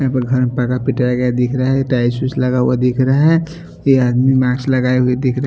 Tiles उइल्स लगा हुआ दिख रहा है ये आदमी मास्क लगाए हुए दिख रहा है।